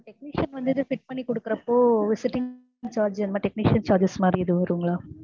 technician வந்து இதை check பண்ணி குடுக்கிறப்ப visiting charges technician charges மாதிரி ஏதும் வரும்ங்களா?